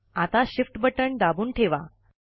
आता shift button दाबून ठेवा